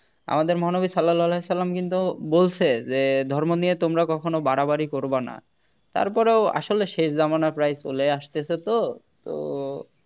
আমাদের মহানবী সাল্লাল্লাহু আলাইহি ওয়াসাল্লাম কিন্তু বলছে যে ধর্ম নিয়ে তোমরা কখনো বাড়াবাড়ি করবা না তারপরও আসলে শেষ জামানা প্রায় চলে আসতেছে তো তো